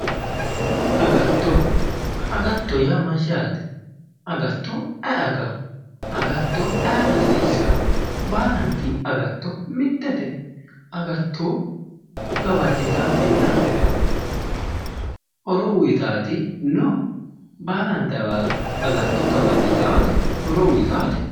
Agatto agatto yaa Mayyaate? agatto ay agawo? Agatto ayera hasiisawo? Baalabitti agatto mittete? Agatto gawajitaatinna horo uyitaati no ?baalanit agatto gawajitaate? horo uyitaate?